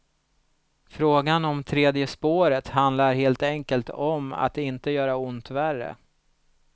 Frågan om tredje spåret handlar helt enkelt om att inte göra ont värre.